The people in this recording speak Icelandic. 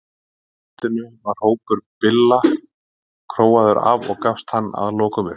í framhaldinu var hópur billa króaður af og gafst hann að lokum upp